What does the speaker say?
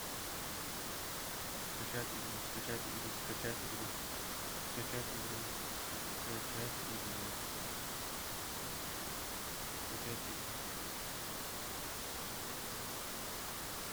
скачать игру скачать игру скачать игру скачать игру скачать игру скачать игру